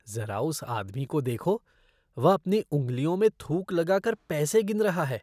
ज़रा उस आदमी को देखो। वह अपनी उँगलियों में थूक लगा कर पैसे गिन रहा है।